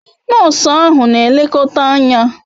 Nosu ahu n'elekota Anya